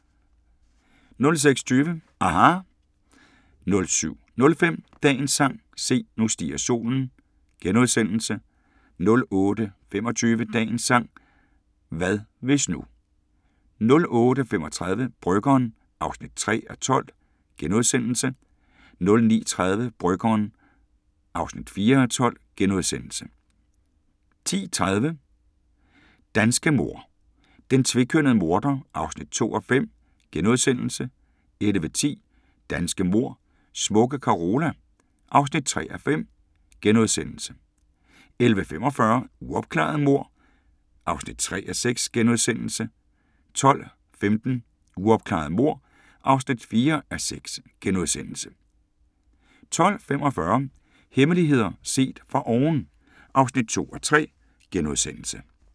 06:20: aHA! 07:05: Dagens sang: Se, nu stiger solen * 08:25: Dagens sang: Hvad hvis nu 08:35: Bryggeren (3:12)* 09:30: Bryggeren (4:12)* 10:30: Danske mord: Den tvekønnede morder (2:5)* 11:10: Danske mord: Smukke Carola (3:5)* 11:45: Uopklarede mord (3:6)* 12:15: Uopklarede mord (4:6)* 12:45: Hemmeligheder set fra oven (2:3)*